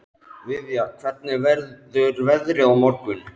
Viðja, hvernig verður veðrið á morgun?